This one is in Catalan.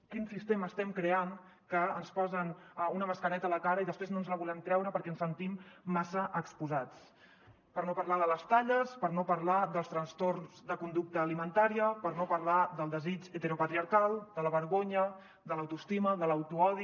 quin sistema estem creant que ens posen una mascareta a la cara i després no ens la volem treure perquè ens sentim massa exposats per no parlar de les talles per no parlar dels trastorns de conducta alimentària per no parlar del desig heteropatriarcal de la vergonya de l’autoestima de l’autoodi